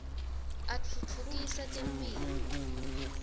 atfutfukisa temphilo